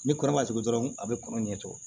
Ni kɔnɔ ma tugu dɔrɔn a bɛ kɔnɔ ɲɛ tugun